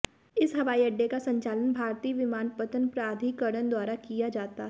इस हवाईअड्डे का संचालन भारतीय विमानपत्तन प्राधिकरण द्वारा किया जाता है